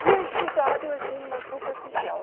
Tinha estudado assim, mas superficial.